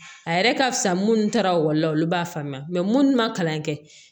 A yɛrɛ ka fisa minnu taara ekɔli la olu b'a faamuya munnu ma kalan kɛ